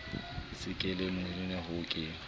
se ke lemoimana ha ke